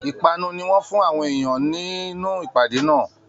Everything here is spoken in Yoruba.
Ipanu ní wọn fún àwọn èèyàn nínú ìpàdé náà